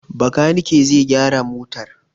Bakanike zai gyara motar.